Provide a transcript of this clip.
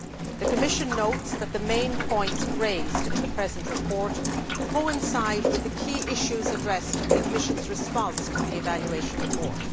The Commission notes that the main points raised in the present report coincide with the key issues addressed in the Commission's response to the evaluation report.